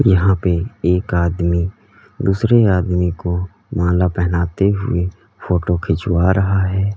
यहां पे एक आदमी दूसरे आदमी को माला पहनाते हुए फोटो खिंचवा रहा है।